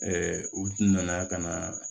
u nana ka na